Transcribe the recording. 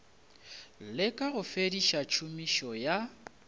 leka go fediša tšhomišo ya